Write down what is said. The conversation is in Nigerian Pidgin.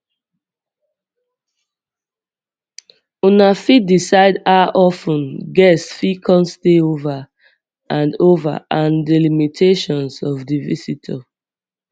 una fit decide how of ten guests fit come stay over and over and di limitations of di visitor